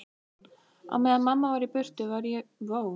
Á meðan mamma var í burtu var ég misnotuð tvisvar.